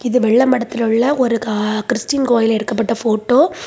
இது வெல்ல மடத்துல உள்ள ஒரு கா கிறிஸ்டின் கோயில்ல எடுக்கப்பட்ட ஃபோட்டோ .